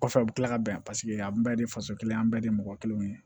Kɔfɛ u bɛ tila ka bɛn an bɛɛ de ye faso kelen an bɛɛ de ye mɔgɔ kelen ye